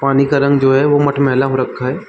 पानी का रंग जो है वो मटमैला हो रखा हैं।